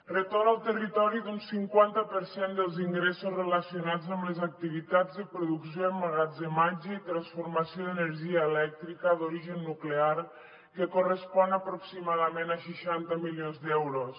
retorn al territori d’un cinquanta per cent dels ingressos relacionats amb les activitats de producció emmagatzematge i transformació d’energia elèctrica d’origen nuclear que correspon aproximadament a seixanta milions d’euros